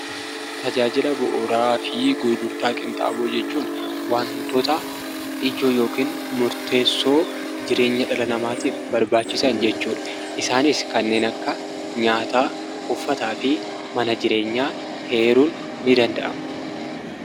Tajaajila bu'uuraafi gurgurtaa qinxaaboo jechuun wantoota ijoo yookiin murteessuu jireenya dhala namaatiif barbaachisan jechuudha. Isaanis kanneen akka nyaataa, uffataafi mana jireenyaa heeruun ni danda'ama.